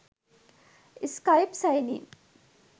skype sign in